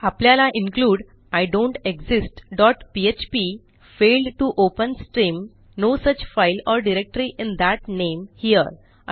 आपल्याला include I don't exist dot PHP failed to open stream no such file or directory in that name here